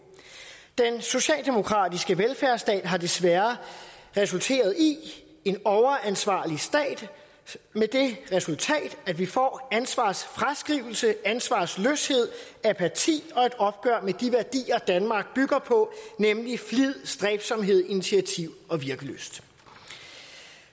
den socialdemokratiske velfærdsstat har desværre resulteret i en overansvarlig stat med det resultat at vi får ansvarsfraskrivelse ansvarsløshed apati og et opgør med de værdier danmark bygger på nemlig flid stræbsomhed initiativ og virkelyst